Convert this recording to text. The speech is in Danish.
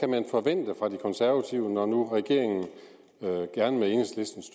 man forvente fra de konservative når nu regeringen gerne med enhedslistens